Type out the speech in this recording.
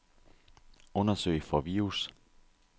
Undersøg for virus.